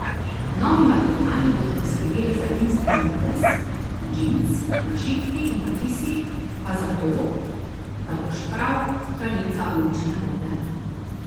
Novi materiali bodo poskrbeli za edinstven videz, džins, našitki in napisi pa za to, da boš prav kraljica ulične mode.